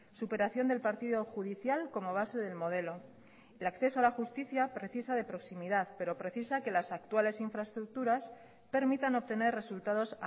superación del partido judicial como base del modelo el acceso a la justicia precisa de proximidad pero precisa que las actuales infraestructuras permitan obtener resultados